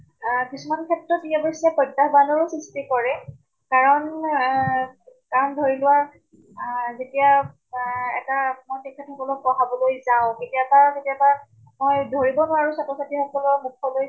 আহ কিছুমান ক্ষেত্ৰত ই অৱ্শ্য়ে প্ৰত্যাহবানৰো সৃষ্টি কৰে, কাৰণে আহ কাৰণ ধৰি লোৱা যেতিয়া আহ এটা মই তেখেত সকলক পঢ়াবলৈ যাওঁ, কেতিয়াবা কেতিয়াবা আই ধৰি লওঁক আৰু ছাত্ৰ ছাত্ৰী সকলে মুখলৈ